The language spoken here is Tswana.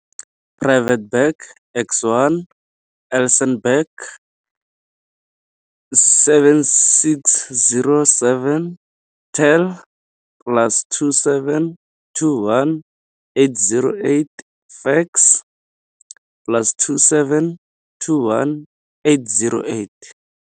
Private Bag X1, Elsenburg, 7607 tel, plus 27 21 808 fax, plus 27 21 808.